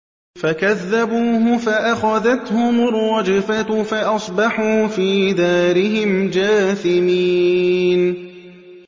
فَكَذَّبُوهُ فَأَخَذَتْهُمُ الرَّجْفَةُ فَأَصْبَحُوا فِي دَارِهِمْ جَاثِمِينَ